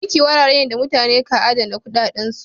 Banki wuri ne da mutane ka adana kuɗaɗansu.